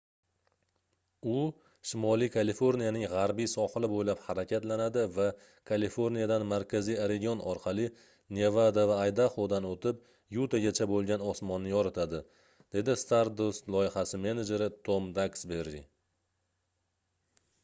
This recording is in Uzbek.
u shimoliy kaliforniyaning gʻarbiy sohili boʻylab harakatlanadi va kaliforniyadan markaziy oregon orqali nevada va aydahodan oʻtib yutagacha boʻlgan osmonni yoritadi - dedi stardust loyihasi menejeri tom daksberi